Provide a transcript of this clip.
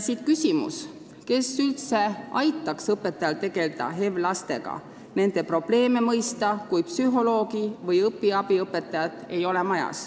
Siit küsimus, kes üldse aitaks õpetajal tegelda HEV-lastega ja nende probleeme mõista, kui psühholoogi või õpiabiõpetajat majas ei ole.